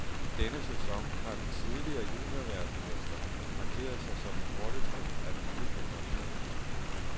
I denne sæson har den tidligere juniorverdensmester markeret sig som den hurtigste af den nye generation.